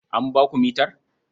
An ba ku mitar?